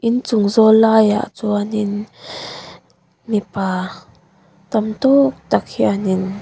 inchung zâwl laiah chuanin mipa tam tâwk tak hianin.